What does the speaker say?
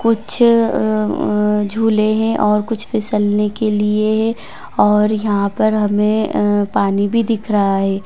कुछ अ अ झूले हैं और कुछ फिसलने के लिए है और यहाँ पर हमे अ पानी भी दिख रहा है।